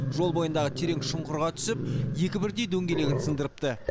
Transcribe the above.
жол бойындағы терең шұңқырға түсіп екі бірдей дөңгелегін сындырыпты